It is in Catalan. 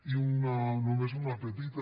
i només una petita